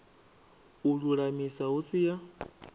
u lulamisa hu si ya